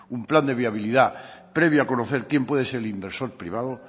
un plan de viabilidad previo a conocer quién puede ser el inversor privado